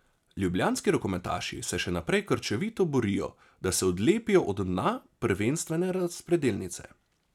Ljubljanski rokometaši se še naprej krčevito borijo, da se odlepijo od dna prvenstvene razpredelnice.